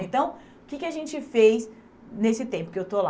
Então, o que que a gente fez nesse tempo que eu estou lá?